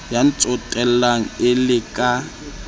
ya ntsotellang e le ka